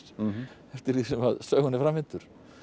eftir því sem sögunni framvindur